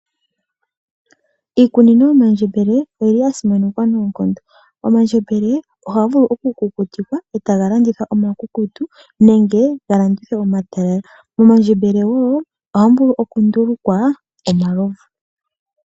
Iikunino yomandjembele oyili yasimanekwa noonkondo. Omandjembele ohaga vulu okukutikwa e taga landithwa omakukutu nenge ga landithwe omatalala. Momandjembele ohamu vulu wo okundulukwa omalovu.